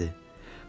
Hə, necədir?